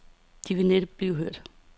De ville næppe blive hørt.